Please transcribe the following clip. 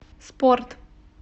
спорт